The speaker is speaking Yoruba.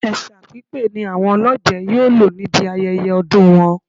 Ẹ̀ṣà pípé ni àwọn olọ́jẹ̀ yóò lò níbi ayẹyẹ ọdún wọn